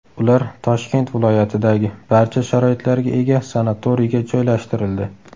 Ular Toshkent viloyatidagi barcha sharoitlarga ega sanatoriyga joylashtirildi.